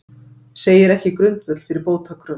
Segir ekki grundvöll fyrir bótakröfu